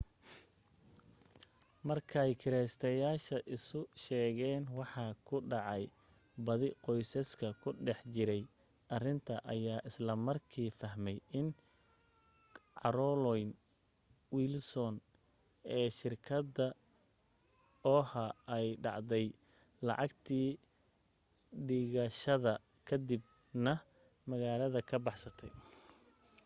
markay kireysteyaasha isu sheegeen waxa ku dhacay badi qoysaska ku dhex jiray arrinta ayaa isla markii fahmay in carolyn wilson ee shirkadda oha ay dhacday lacagtii dhigashada ka dib na magaalada ka baxsatay